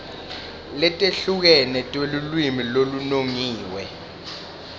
letehlukene telulwimi lolunongiwe